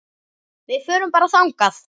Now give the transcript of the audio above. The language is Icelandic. Við förum bara þangað!